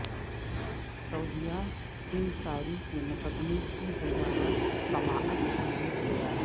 سعودیہ سنگساری کے مقدمے کی دوبارہ سماعت کے لیے تیار